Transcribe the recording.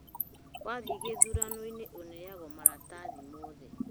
Wathiĩ gĩthurano-ini ũneagwo marathi mothe